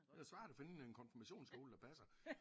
Det er da svært at finde en konfirmationskjole der passer